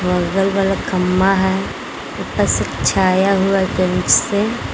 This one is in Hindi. अगल बगल खंबा है ऊपर से छाया हुआ है टेंट से।